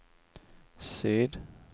syd